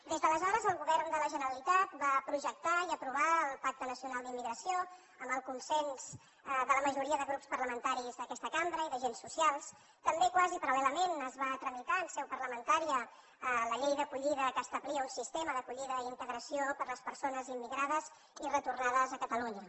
des d’aleshores el govern de la generalitat va projectar i aprovar el pacte nacional d’immigració amb el consens de la majoria de grups parlamentaris d’aquesta cambra i d’agents socials també quasi paral·lelament es va tramitar en seu parlamentària la llei d’acollida que establia un sistema d’acollida i d’integració per les persones immigrades i retornades a catalunya